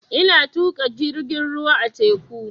Ina tuƙa jirgin ruwa a teku